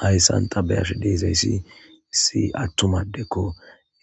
hayssanta beyashe deezayssi issi attumadekko